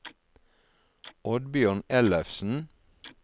Oddbjørn Ellefsen